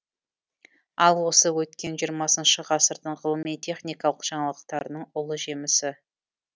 ал осы өткен жиырмасыншы ғасырдың ғылыми техникалық жаңалықтарының ұлы жемісі